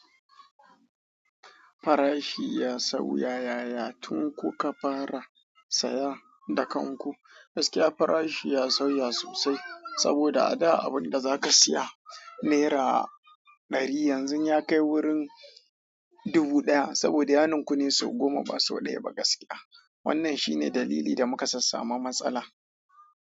Farashi ya sauya, yaya? Tun kuka fara saya da kanku, gaskiya farashi ya sauya sosai saboda a da abun da za ka siya nera ɗari yanzu ya kai wurin dubu ɗaya saboda yanikunne sau goma ba sau ɗaya ba gaskiya. Wannan shi ne dalili da muka sassama matsala.